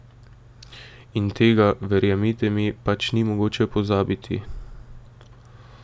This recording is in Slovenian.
In tega, verjemite mi, pač ni mogoče pozabiti.